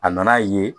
A nan'a ye